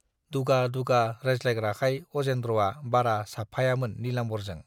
दुगा-दुगा रायज्लायग्राखाय अजेन्द्रआ बारा साबफायामोन नीलाम्बरजों।